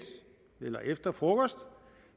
eller efter frokost